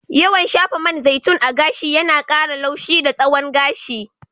Yawan shafa man zaitun a gashi yana ƙara laushi da tsawon gashi.